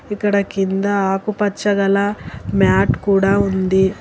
ఇక్కడ కింద ఆకుపచ్చ గల మ్యాట్ కూడా ఉంది.